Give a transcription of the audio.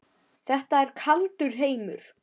Þetta er kaldur heimur.